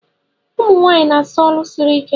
Ụmunwanyi na asọ ọlụ siri ike.